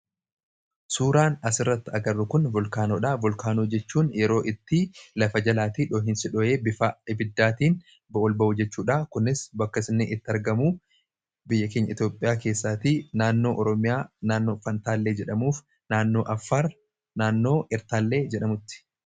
suuraan asirratti agarru kun vulkaanodha vulkaanoo jechuun yeroo itti lafa jalaatii dhoohinsidho'ee bifaa ibiddaatiin o'ol ba'uu jechuudha kunis bakka inni itti argamu biyya keenya itioophiyaa keessaatii naannoo oroomiyaa naannoo fantaallee jedhamuuf naannoo affaar naannoo Fantaallee jedhamutti